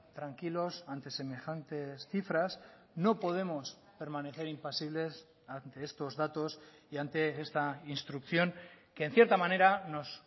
tranquilos ante semejantes cifras no podemos permanecer impasibles ante estos datos y ante esta instrucción que en cierta manera nos